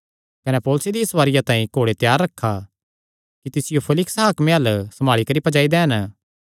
कने पौलुसे दी सवारिया तांई घोड़े त्यार रखा कि तिसियो फेलिक्स हाकमे अल्ल सम्भाल़ी करी पज्जाई दैन